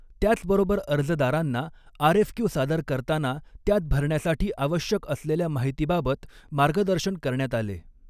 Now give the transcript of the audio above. त्याचबरोबर अर्जदारांना आऱएफक्यू सादर करताना त्यात भरण्यासाठी आवश्यक असलेल्या माहितीबाबत मार्गदर्शन करण्यात आले.